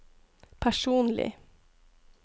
personlig